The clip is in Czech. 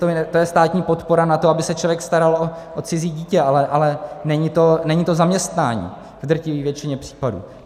To je státní podpora na to, aby se člověk staral o cizí dítě, ale není to zaměstnání v drtivé většině případů.